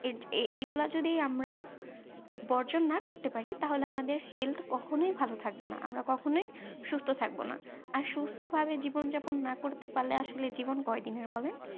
এ এগুলো যদি আমরা বর্জন না করতে পারি তাহলে আমাদের health কখনোই ভালো থাকবে না আমরা কখনো সুস্থ থাকবো না আর সুস্থ ভাবে জীবন যাপন না করতে পারলে আসলে জীবন কয়েক দিনের বলেন